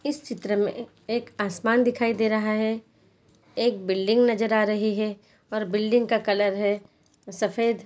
इस चित्र मैं एक आसमान दिखाई दे रहा है एक बिल्डिंग नज़र आ रही है और बिल्डिंग कलर है सफेद।